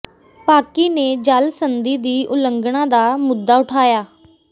ਪਾਕਿ ਨੇ ਜਲ ਸੰਧੀ ਦੀ ਉਲੰਘਣਾ ਦਾ ਮੁੱਦਾ ਉਠਾਇਆ